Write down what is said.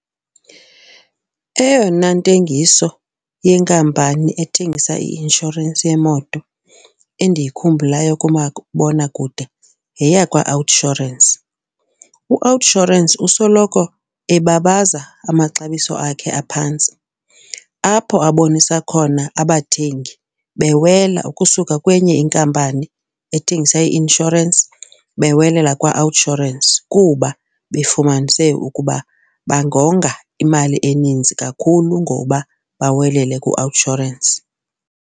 Eyona ntengiso yenkampani ethengisa i-inshorensi yemoto endiyikhumbulayo kumabonakude yeyakwaOUTsurance. UOUTsurance usoloko ebabaza amaxabiso akhe aphantsi apho abonise khona abathengi bewela ukusuka kwenye inkampani ethengisa i-inshorensi bewelela kwaOUTsurance kuba bafumanise ukuba bangonga imali eninzi kakhulu ngoba bawelele kuOUTsurance.